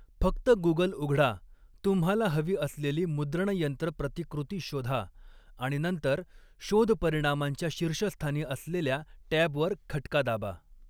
फक्त गूगल उघडा, तुम्हाला हवी असलेली मुद्रणयंत्र प्रतिकृती शोधा आणि नंतर शोध परिणामांच्या शीर्षस्थानी असलेल्या टॅबवर खटका दाबा.